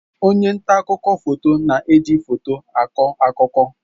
Onye nta akụkọ foto na-eji foto akọ akụkọ.